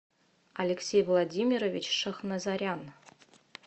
алексей владимирович шахназарян